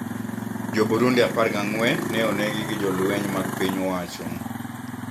Jo-Burundi apar gang`wen ne onegi gi jolweny mag piny owacho